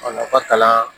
A nafa kalan